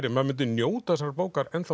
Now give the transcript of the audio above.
maður myndi njóta þessarar bókar